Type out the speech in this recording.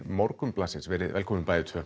Morgunblaðsins verið velkomin bæði tvö